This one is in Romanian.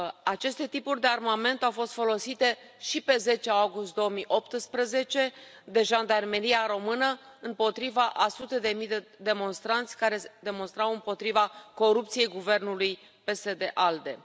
Aceste tipuri de armament au fost folosite și pe 10 august 2018 de Jandarmeria Română împotriva a sute de mii de demonstranți care demonstrau împotriva corupției Guvernului PSD ALDE.